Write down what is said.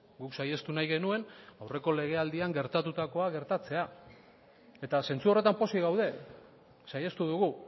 guk saihestu nahi genuen aurreko legealdian gertatukoa gertatzea eta zentzu horretan pozik gaude saihestu dugu